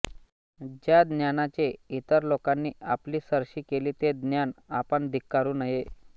ज्या ज्ञानाने इतर लोकांनी आपली सरशी केली ते ज्ञान आपण धिक्कारू नये